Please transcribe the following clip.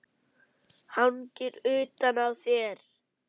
Hangir utan á þér!